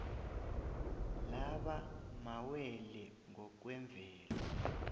laba mawele ngokwemvelo